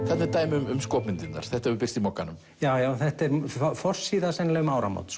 þetta er dæmi um skopmyndirnar þetta hefur birst í Mogganum já já þetta er forsíða sennilega um áramót